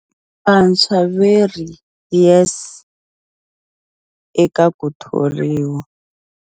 Vantshwa veri YES eka ku thoriwa.